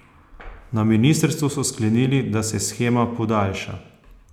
Na ministrstvu so sklenili, da se shema podaljša.